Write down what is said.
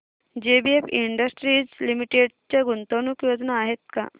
JBF Industries Limited च्या गुंतवणूक योजना आहेत का